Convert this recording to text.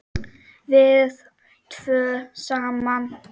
Við tvö saman.